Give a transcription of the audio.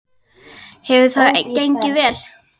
Hefur það gengið vel?